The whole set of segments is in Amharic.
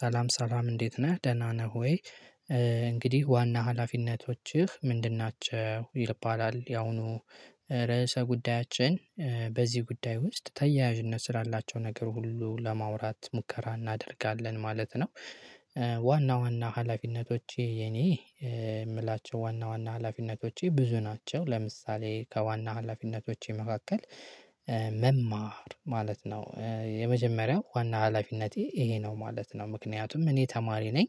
ሰላም ሰላም እንዴት ነህ ደህና ነህ። ወይ እንግዲህ ዋና ሀላፊነቶችህ ምንድን ናቸው? ይባላል ያሁኑ ርዕሰ ጉዳያችን በዚህ ጉዳይ ውስጥ ተያያዥነት ስላላቸው ነገር ሁሉ ለማውራት ሙከራ እናደርጋለን ማለት ነው። ዋና ዋና ሀላፊነቶቼ የኔ የምላቸው ዋና ዋና ሀላፊነቶቼ ብዙ ናቸው። ለምሳሌ ከዋና ሀላፊነቶቼ መካከል መማር ማለት ነው የመጀመሪያው ዋና ሀላፊነቴ ይሄ ነው ማለት ነው ምክንያቱም እኔ ተማሪ ነኝ።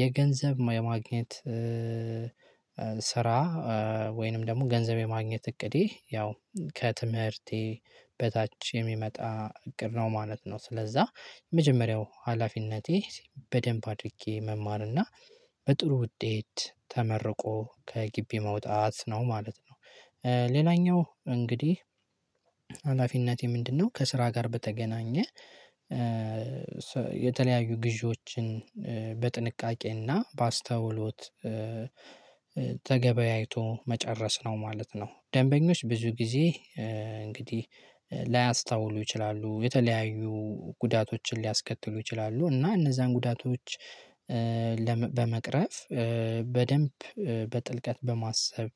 የገንዘብ የማግኘት ስራ ወይንም ደግሞ ገንዘብ የማግኘት እቅዴ ያው ከትምህርቴ በታች የሚመጣ እቅድ ነው ማለት ነው። ስለዛ የመጀመሪያው ሀላፊነቴ በደንብ አድርጌ መማር እና በጥሩ ውጤት ተመርቆ ከግቢ መውጣት ነው ማለት ነው። ሌላኛው እንግዲህ ሀላፊነቴ ምንድነው? ከስራ ጋር በተገናኘ የተለያዩ ግዢዎችን በጥንቃቄና በአስተውሎት ተገበያይቶ መጨረስ ነው ማለት ነው። ደንበኞች ብዙ ጊዜ እንግዲህ ላያስታውሉ ይችላሉ የተለያዩ ጉዳቶችን ሊያስከትሉ ይችላሉ እና እነዛን ጉዳቶች በመቅረፍ በደንብ በጥልቀት በማሰብ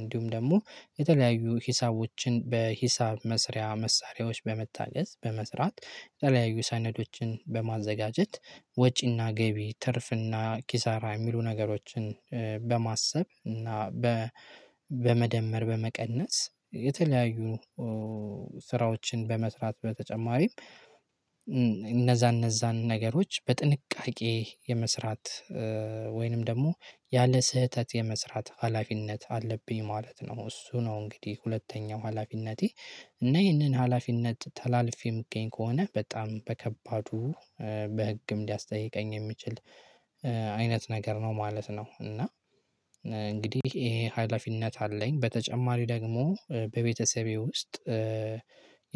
እንዲሁም ደግሞ የተለያዩ ሂሳቦችን በሂሳብ መስሪያ መሳሪያዎች በመታገዝ በመስራት። የተለያዩ ሰነዶችን በማዘጋጀት ወጪና ገቢ ትርፍና ኪሳራ የሚሉ ነገሮችን በማሰብ እና በመደመር በመቀነስ የተለያዩ ስራዎችን በመስራት በተጨማሪም እነዛ እነዛን ነገሮች በጥንቃቄ የመስራት ወይንም ደግሞ ያለ ስህተት የመስራት ሀላፊነት አለብኝ ማለት ነው። እሱ ነው እንግዲህ ሁለተኛው ሀላፊነቴ እና ይህንን ሀላፊነት ተላልፌ የምገኝ ከሆነ በጣም በከባዱ በህግም ሊያስጠይቀኝ የሚችል አይነት ነገር ነው ማለት ነው። እና እንግዲህ ይሄ ሀላፊነት አለኝ በተጨማሪ ደግሞ በቤተሰቤ ውስጥ።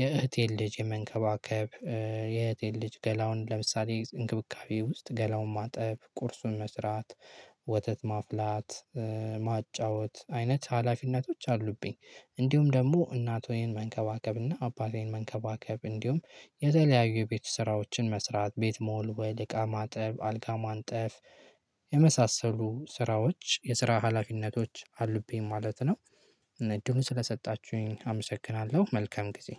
የእህቴን ልጅ የመንከባከብ የእህቴን ልጅ ገላውን ለምሳሌ እንክብካቤ ውስጥ ገላውን ማጠብ ቁርሱን መስራት ወተት ማፍላት ማጫወት አይነት ሀላፊነቶች አሉብኝ። እንዲሁም ደግሞ እናቶዬን መንከባከብና አባቴን መንከባከብ እንዲሁም የተለያዩ የቤት ስራዎችን መስራት ቤት መወልወል ወይ እቃ ማጠብ አልጋ ማንጠፍ የመሳሰሉ ስራዎች የስራ ሀላፊነቶች አሉብኝ ማለት ነው። እድሉን ስለሰጣችሁኝ አመሰግናለሁ መልካም ጊዜ።